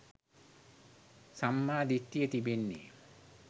සම්මා දිට්ඨිය තිබෙන්නේ